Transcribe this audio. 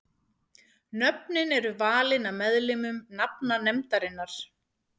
Nöfnin eru valin af meðlimum nafnanefndarinnar.